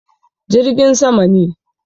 Jirgin sama ne.